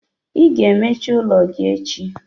Ị ga-emecha ule gị echi!